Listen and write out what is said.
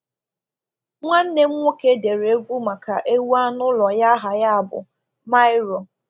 Nwanne m nwoke dere egwu maka ewu anụ ụlọ ya aha ya bụ “Mairo.”